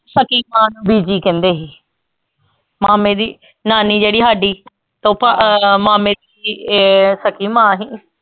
ਬੀਜੀ ਕਹਿੰਦੇ ਹੀ ਮਾਮੇ ਦੀ ਨਾਨੀ ਜਿਹੜੀ ਹਾਡੀ ਮਾਮੇ ਦੀ ਸਕੀ ਮਾਂ ਹੀ